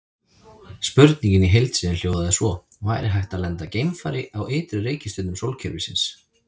Spurningin í heild sinni hljóðaði svo: Væri hægt að lenda geimfari á ytri reikistjörnum sólkerfisins?